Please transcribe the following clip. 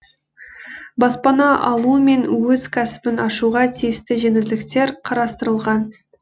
баспана алу мен өз кәсібін ашуға тиісті жеңілдіктер қарастырылған